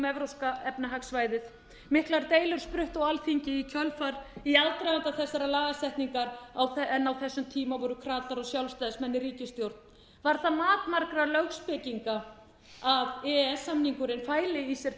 þrjú um evrópska efnahagssvæðið miklar deilur spruttu á alþingi í aðdraganda þessarar lagasetningar en á þessum tíma voru kratar og sjálfstæðismenn í ríkisstjórn var það mat margra lögspekinga að e e s samningurinn fæli í sér